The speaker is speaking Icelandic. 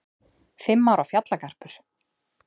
Fimm ára fjallagarpur